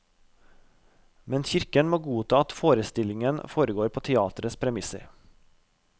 Men kirken må godta at forestillingen foregår på teatrets premisser.